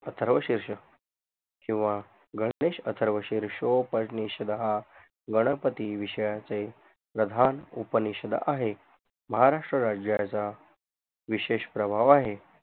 अथर्वशीरशक किवा गणेश अथर्व शिरशोपनिशदहा गणपती विषयाचे प्रधान उपनिषद आहे महाराष्ट्र राज्याचा विशेषप्रभाव आहे